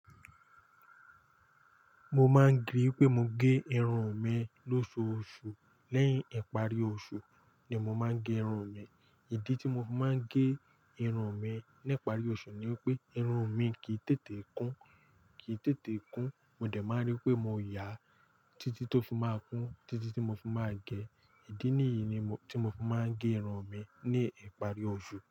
Mo máa ń ge pé mo gẹ irun mi lóṣooṣù. Lẹ́yìn ìparí oṣù ni mo máa ń gẹ irun mi. Ìdí tí mo máa ń gẹ irun mi ní ìparí oṣù ni wípé irun mi kì í tètè kún, kì í tètè kún, mo dẹ̀ máa rí pé mo ya títí tó fi máa kún títí tí mo fi máa gẹ. Ìdí nìyí ni tí mo fi máa ń gẹ irun mi ní ìparí oṣù.